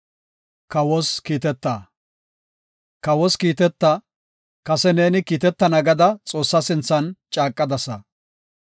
Kawos kiiteta; kase neeni kiitetana gada Xoossa sinthan caaqadasa.